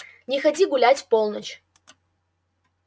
не ходи гулять в полночь